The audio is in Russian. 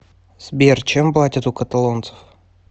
сбер чем платят у каталонцев